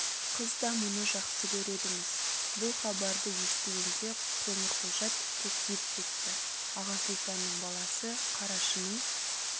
қыз да мұны жақсы көреді-міс бұл хабарды естігенде қоңырқұлжа тіпті күйіп кетті аға сұлтанның баласы қарашының